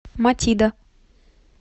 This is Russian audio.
матида